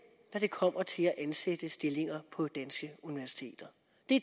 når det kommer til at ansætte i stillinger på danske universiteter